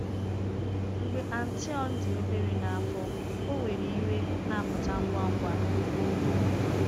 Mgbe Antoine dị obere n’afọ, ọ nwere iwe na-apụta ngwa ngwa.